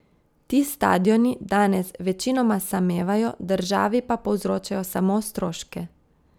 Ti stadioni danes večinoma samevajo, državi pa povzročajo samo stroške.